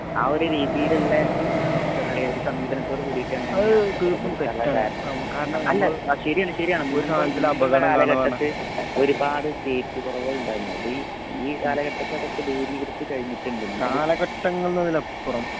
ആ ഒരു രീതിയിലുള്ളേ ആ എന്തപറയുക സമീപനത്തോട് കൂടീട്ടാണ് അല്ല ശരിയാണ് ശരിയാണ് നമ്മടെ കാലഘട്ടത്ത്‌ ഒരുപാട് സേഫ്റ്റി കുറവുണ്ടായിരുന്നു. ഈ കാലഘട്ടത്തെ അതൊക്കെ ദുരീകരിച്ചു കഴിഞ്ഞിട്ടുണ്ടിന്നു .